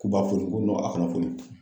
K'u b'a foni n ko a kan'a foni